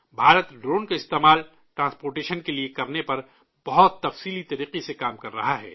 Bharat drone کا استعمال، transportation کے لیے کرنے پر بہت ہمہ گیر طریقے سے کام کر رہا ہے